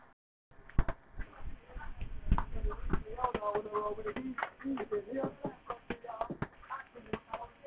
Jesús er nú of góður strákur til að kjafta frá.